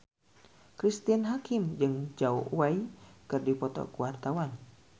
Cristine Hakim jeung Zhao Wei keur dipoto ku wartawan